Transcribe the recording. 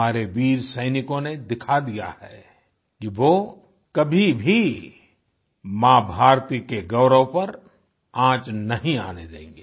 हमारे वीर सैनिकों ने दिखा दिया है कि वो कभी भी माँ भारती के गौरव पर आँच नहीं आने देंगे